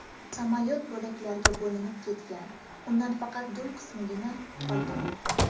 Samolyot bo‘laklarga bo‘linib ketgan, undan faqat dum qismigina qolgan.